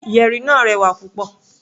Yẹ̀rì náà rẹwà púpọ̀.